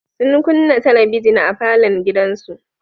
Sun kunna talabijin a falon gidansu.